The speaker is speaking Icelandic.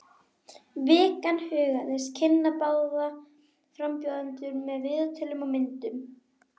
Vikan hugðist kynna báða frambjóðendur með viðtölum og myndum.